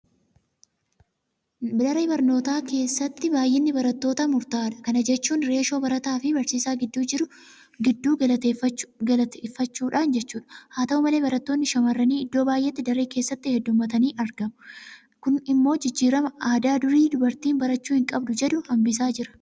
Daree barnootaa keessatti baay'inni barattootaa murtaa'aadha. Kana jechuun Reeshoo barataafi barsiisaa giddu galeeffachuudhaan jechuudha. Haata'u malee barattoonni shaamarranii iddoo baay'eetti daree keessatti heddummatanii argamu. Kun immoo jijjiirama aadaa durii dubartiin barachuu hin qabdu jedhu hambisaa jira.